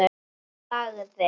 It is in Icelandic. Hann þagði.